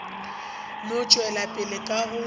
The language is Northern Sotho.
no tšwela pele ka go